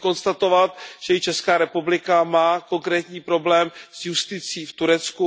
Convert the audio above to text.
Chci konstatovat, že i Česká republika má konkrétní problém s justicí v Turecku.